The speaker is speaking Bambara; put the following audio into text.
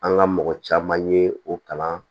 An ka mɔgɔ caman ye o kalan